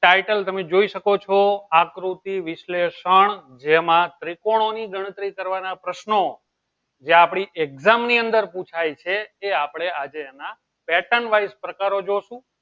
title તમે જોઈ શકો છો આકૃતિ વિશ્લેષણ જેમાં ત્રિકોણ ગણતરી કરવાના પ્રશ્નો જે આપળી exam ની અંદર પુછાય છે તે આપળે આજે એના pattern wise પ્રકારો જોય્શું